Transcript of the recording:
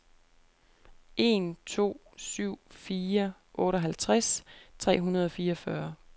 en to syv fire otteoghalvtreds tre hundrede og fireogfyrre